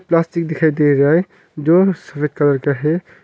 Plastic दिखाई दे रहा है जो सफेद कलर का है।